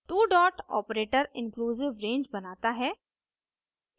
two dot operator inclusive range बनाता है